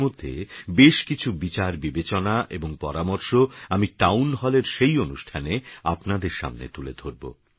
এরমধ্যেবেশকিছুবিচারবিবেচনাএবংপরামর্শআমিটাউনহলেরসেইঅনুষ্ঠানেআপনাদেরসামনেতুলেধরব